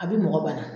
A bɛ mɔgɔ bana